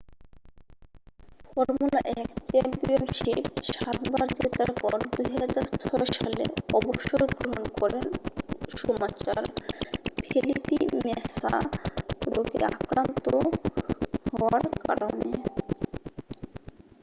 formula 1 championship সাতবার জেতার পর 2006 সালে অবসর গ্রহণ করেন শুমাচার ফেলিপি ম্যাসা রোগে আক্রান্ত হওয়ার কারণে